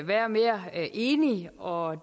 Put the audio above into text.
være mere enig og